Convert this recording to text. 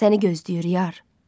Səni gözləyir yar.